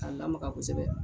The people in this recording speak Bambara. K'a lamaga kosɛbɛ.